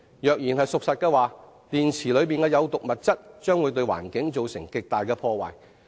假如說法屬實，電池的有毒物質將會對環境造成極大破壞。